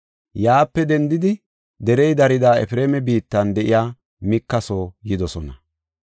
Yaape dendidi derey dariya Efreema biittan de7iya Mika soo yidosona.